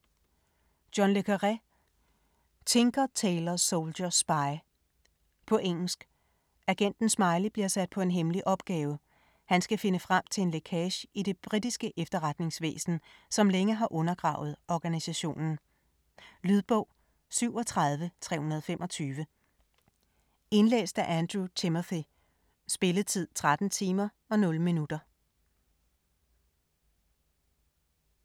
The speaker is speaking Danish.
Le Carre, John: Tinker tailor soldier spy På engelsk. Agenten Smiley bliver sat på en hemmelig opgave; han skal finde frem til en lækage i det britiske efterretningsvæsen, som længe har undergravet organisationen. Lydbog 37325 Indlæst af Andrew Timothy Spilletid: 13 timer, 0 minutter.